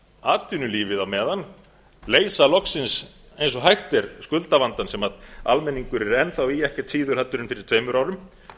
atvinnulífið á meðan leysa loksins eins og hægt er skuldavandann sem almenningur er enn þá í eftir fyrir tveimur árum